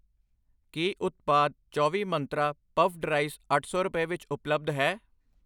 ਕੀ ਉਤਪਾਦ ਚੌਵੀ ਮੰਤਰਾਂ ਪਫਡ ਰਾਈਸ ਅੱਠ ਸੌ ਰੁਪਏ ਵਿੱਚ ਉਪਲੱਬਧ ਹੈ?